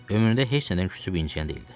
Ömründə heç nədən küsüb incəyən deyildi.